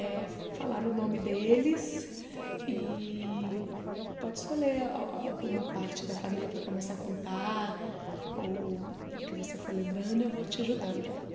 é falar o nome deles e pode escolher al al alguma parte da família para começar a contar ou o que você for lembrando, eu vou te ajudando.